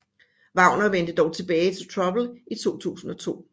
Wagner vendte dog tilbage til Trouble i 2002